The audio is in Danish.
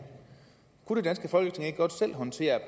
kunne det danske folketing ikke godt selv håndtere